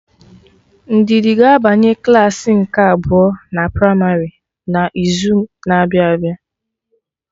Ndidi ga-abanye klaasị nke abụọ na primarị na izu na-abịa abịa